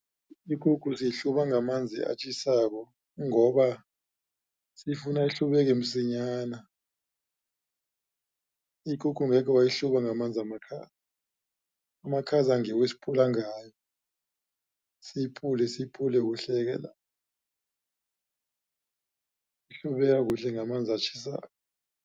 Ikukhu siyihluba ngamanzi atjhisako ngoba sifuna ihlubeke msinyana. Ikukhu ngekhe wayihluba ngamanzi amakhaza, amakhaza ngiwo esipula ngayo siyipule siyipule kuhleke lapho ihlubeka kuhle ngamanzi atjhisako.